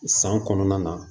San kɔnɔna na